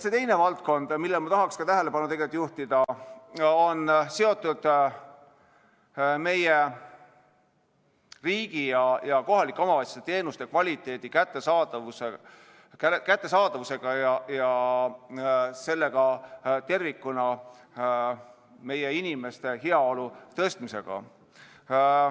Teine valdkond, millele ma tahan tähelepanu juhtida, on seotud meie riigi ja kohalike omavalitsuste teenuste kvaliteedi ja kättesaadavusega ning tervikuna meie inimeste heaolu tõstmisega.